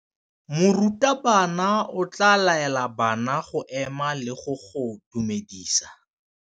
Morutabana o tla laela bana go ema le go go dumedisa.